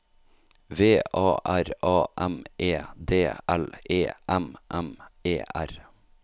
V A R A M E D L E M M E R